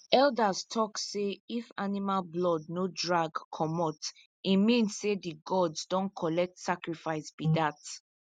elders tok say if animal blood no drag comot e mean say the gods don collect sacrifice be dat